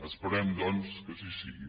esperem doncs que així sigui